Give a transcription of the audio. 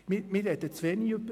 Wir sprechen zu wenig darüber.